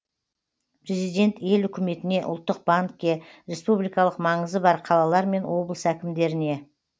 президент ел үкіметіне ұлттық банкке республикалық маңызы бар қалалар мен облыс әкімдеріне